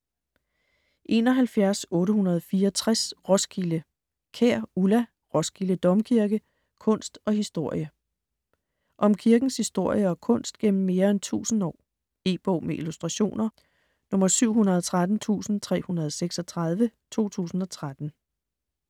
71.864 Roskilde Kjær, Ulla: Roskilde Domkirke: kunst og historie Om kirkens historie og kunst gennem mere end tusind år. E-bog med illustrationer 713336 2013.